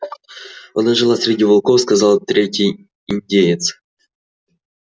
она жила среди волков сказал третий индеец